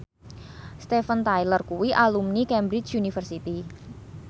Steven Tyler kuwi alumni Cambridge University